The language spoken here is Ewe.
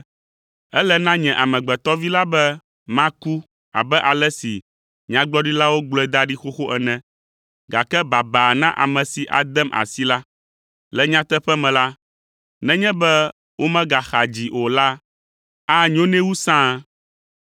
Ele na nye Amegbetɔ Vi la be maku abe ale si nyagblɔɖilawo gblɔe da ɖi xoxo ene, gake baba na ame si adem asi la. Le nyateƒe me la, nenye be womegaxa dzii o la, anyo nɛ wu sãa.”